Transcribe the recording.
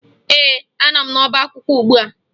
Ee, anọ m n'ọbaakwụkwọ ugbua